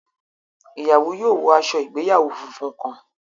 Ìyàwó yóò wọ aṣọ ìgbéyàwó fúnfún kàn